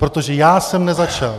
Protože já jsem nezačal.